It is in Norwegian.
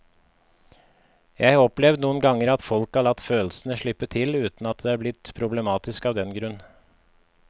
Jeg har opplevd noen ganger at folk har latt følelsene slippe til uten at det er blitt problematisk av den grunn.